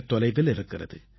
தொலைவில் இருக்கிறது